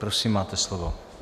Prosím, máte slovo.